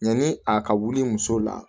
Yanni a ka wuli muso la